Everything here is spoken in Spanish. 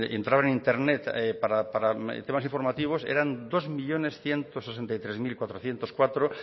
entraban en internet para temas informativos eran dos millónes ciento sesenta y tres mil cuatrocientos cuatro